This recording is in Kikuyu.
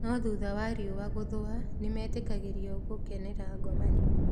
No thutha wa riũa gũthũa, nĩ metĩkagĩrũo gũkenera ngomanio.